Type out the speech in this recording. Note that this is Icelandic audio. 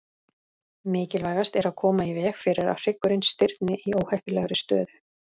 Mikilvægast er að koma í veg fyrir að hryggurinn stirðni í óheppilegri stöðu.